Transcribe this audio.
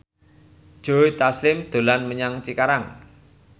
Joe Taslim dolan menyang Cikarang